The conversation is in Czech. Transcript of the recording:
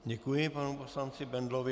Děkuji panu poslanci Bendlovi.